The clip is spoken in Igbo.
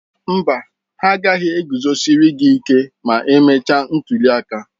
Mba, ha agaghị e guzosịrị gị ịke ma emechaa ntuli aka.